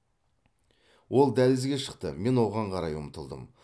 ол дәлізге шықты мен оған қарай ұмтылдым